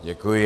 Děkuji.